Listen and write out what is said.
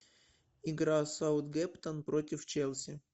игра саутгемптон против челси